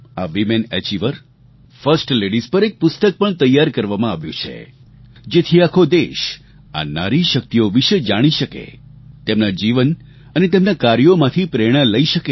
આ women achiever first ladies પર એક પુસ્તક પણ તૈયાર કરવામાં આવ્યું છે જેથી આખો દેશ આ નારી શક્તિઓ વિશે જાણી શકે તેમના જીવન અને તેમનાં કાર્યોમાંથી પ્રેરણા લઈ શકે